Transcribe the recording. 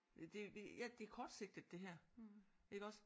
Øh det ja det er kortsigtet det her iggås